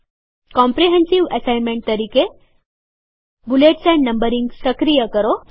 comprehensive assignment bullets and numbering સક્રિય કરો